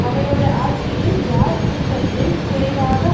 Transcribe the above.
அவரோடு ஆட்சியில் யார் துன்பத்தை குறைவாக